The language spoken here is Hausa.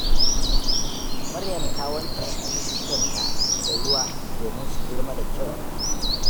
Maryam ta wanke shuke-shukenta da ruwa domin su girma da kyau.